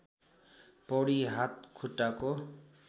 पौडी हात खुट्टाको